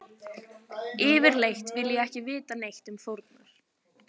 Yfirleitt vil ég ekki vita neitt um fórnar